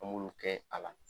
An b'olu kɛ a la.